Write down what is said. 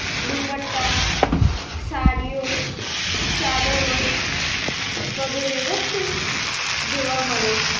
દુપટ્ટા સાડીઓ ચાદરો વગેરે વસ્તુ જોવા મળે છે.